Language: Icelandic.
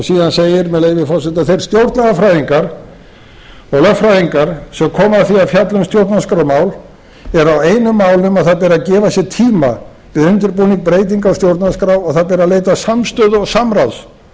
síðan segir með leyfi forseta þeir stjórnlagafræðingar og lögfræðingar sem koma að því að fjalla um stjórnarskrármál eru á einu máli um að það beri að gefa sér tíma við undirbúning breytinga á stjórnarskrá og það ber að leita samstöðu og samráðs